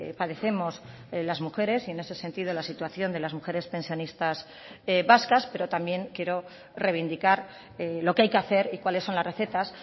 padecemos las mujeres y en ese sentido la situación de las mujeres pensionistas vascas pero también quiero reivindicar lo que hay que hacer y cuáles son las recetas